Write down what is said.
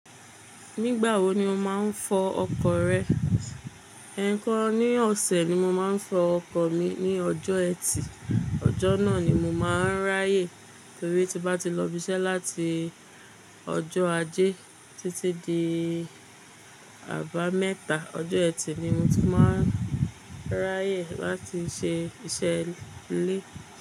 Nígbà wo ni o má n fọ ọkọ̀ rẹ? Ẹ̀ẹ̀kan ní ọ̀sẹ̀ ni mo máa ń fọ ọkọ̀ mi ní ọjọ́ ẹtì. Ọjọ́ náà ni mo máa ń ráyè torí tí bá ti lọ ibi iṣẹ́ láti ọjọ́ ajé títí di àbámẹ́ta, ọjọ́ ẹtì ni mo ti máa ń ráyè láti ṣe iṣẹ́ ilé.